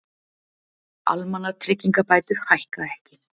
Almannatryggingabætur hækka ekki